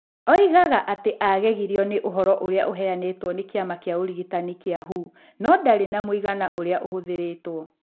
Oigaga atĩ nĩ agegirio nĩ ũhoro ũrĩa ũheanĩtwo nĩ kĩama kĩa ũrigitani gĩa thĩ (WHO). No ndarĩ ona mũigana ũrĩa ũhũthĩrĩtwo.